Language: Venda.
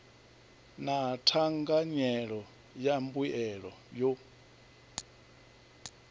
na thanganyelo ya mbuelo yo